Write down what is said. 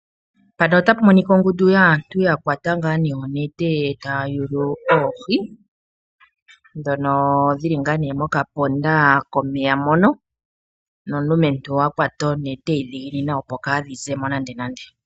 Mpano otapu monika ongundu yaantu. yakwate ngaa nee onete taya yulu oohi dhono dhili ngaa nee mokapondo komeya mono nomulumentu a kawata onete adhiginina opo kaadhi zemo nande nande.